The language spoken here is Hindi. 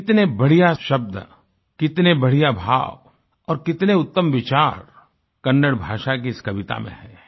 कितने बढ़िया शब्द कितने बढ़िया भाव और कितने उत्तम विचार कन्नड़ भाषा की इस कविता में हैं